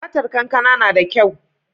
Fatar kankana nada kyau